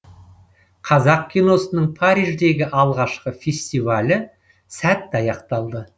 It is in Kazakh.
қазақ киносының париждегі алғашқы фестивалі сәтті аяқталды